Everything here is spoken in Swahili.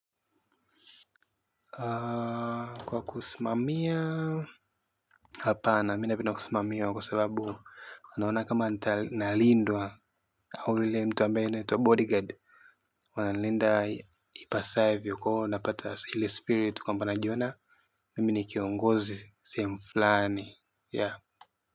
Kwa kusimamia, hapana mina pena kusimamia kwa sababu naona kama nalindwa. Hau ule mtu ambaye anaitwa bodyguard. Wanalinda ipasae vyo koo. Napata ile spirit kwamba najiona, mimi ni kiongozi sehemu fulani, ya.